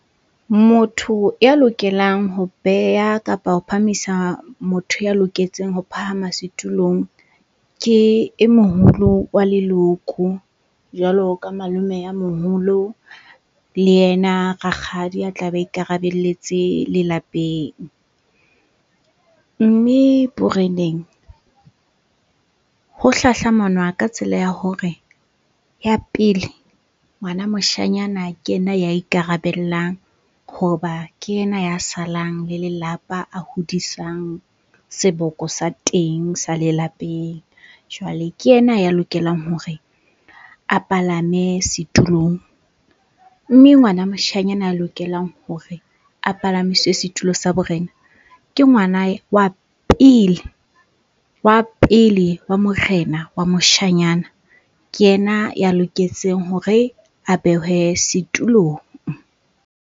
Motho ya lokelang ho beya kapa ho phahamisa motho ya loketseng ho phahama setulong, ke e moholo wa leloko jwalo ka malome a moholo le ena rakgadi a tla be a ikarabelletse lelapeng. Mme boreneng ho hlahlamanwa ka tsela ya hore ya pele, ngwana moshanyana ke ena ya ikarabellang hoba ke ena ya salang le lelapa, a hodisang seboko sa teng sa lelapeng. Jwale ke ena ya lokelang hore a palame setulong. Mme ngwana moshanyana a lokelang hore a palamiswe setulo sa borena, ke ngwana wa pele wa morena wa moshanyana, ke ena ya loketseng hore a behwe setulong.